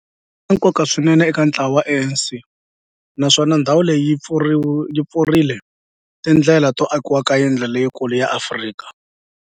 ri na nkoka swinene eka ntlawa wa ANC, naswona ndhawu leyi yi pfurile tindlela to akiwa ka yindlu leyikulu ya Afrika